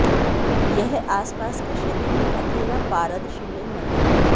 यह आसपास के क्षेत्रों में अकेला पारद शिवलिंग मंदिर है